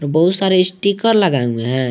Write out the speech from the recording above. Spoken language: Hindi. बहुत सारे स्टीकर लगे हुए है।